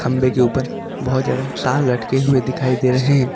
खंबे के ऊपर बहुत ज्यादा तार लटके हुए दिखाई दे रहे हैं।